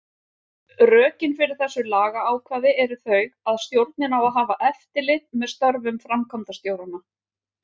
Rökin fyrir þessu lagaákvæði eru þau að stjórnin á að hafa eftirlit með störfum framkvæmdastjóranna.